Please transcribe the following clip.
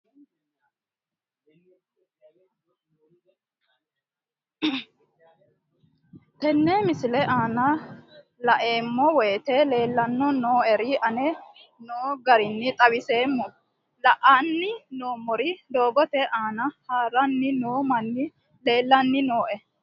Tenne misile aana laeemmo woyte leelanni noo'ere aane noo garinni xawiseemmo. La'anni noomorri doogote aana harranni noo manni leelanni nooe.